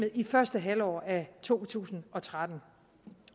i første halvår af to tusind og tretten